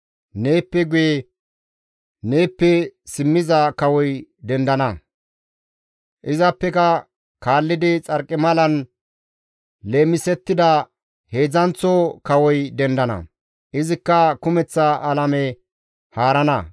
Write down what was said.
«Neeppe guye neeppe simmiza kawoy dendana; izappeka kaallidi xarqimalan leemisettida heedzdzanththo kawoy dendana; izikka kumeththa alame haarana.